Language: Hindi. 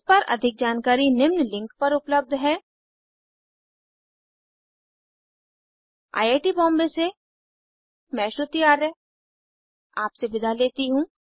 इस पर अधिक जानकारी निम्न लिंक पर उपलब्ध है आई आई टी बॉम्बे से मैं श्रुति आर्य आपसे विदा लेती हूँ